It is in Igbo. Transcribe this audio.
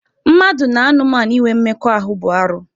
Mmadụ na anụmanụ inwe mmekọahụ bụ arụ.